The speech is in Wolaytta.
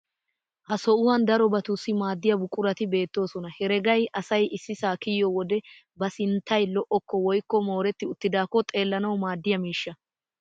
Ha sohuwan darobatussi maadiya buqurati beettoosona. Heregay asay issisaa kiyiyo wode ba sinttay lo"okko woykko mooretti uttidaakko xeellanawu maaddiya miishsha.